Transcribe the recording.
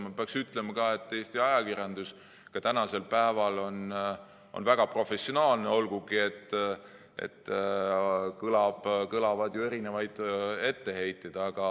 Ma peaksin ütlema, et Eesti ajakirjandus on ka tänasel päeval väga professionaalne, olgugi et kõlab ju erinevaid etteheiteid.